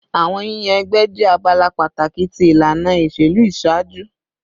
Awọn yiyan ẹgbẹ jẹ abala pataki ti ilana iṣelu iṣaaju